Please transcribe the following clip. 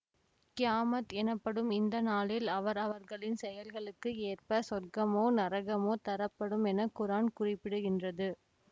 கியாமத் எனப்படும் இந்த நாளில் அவர் அவர்களின் செயல்களுக்கு ஏற்ப சொர்க்கமோ நரகமோ தரப்படும் என குரான் குறிப்பிடுகின்றது